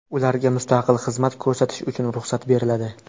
Ularga mustaqil xizmat ko‘rsatish uchun ruxsat beriladi.